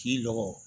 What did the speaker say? K'i lɔgɔ